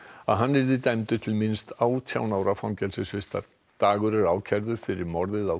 að hann yrði dæmdur til minnst átján ára fangelsisvistar dagur er ákærður fyrir morðið á